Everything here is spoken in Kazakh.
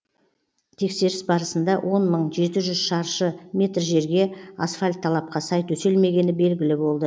тексеріс барысында он мың жеті жүз шаршы метр жерге асфальт талапқа сай төселмегені белгілі болды